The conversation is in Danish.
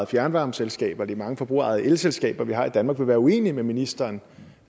fjernvarmeselskaber og de mange forbrugerejede elselskaber vi har i danmark vil være uenige med ministeren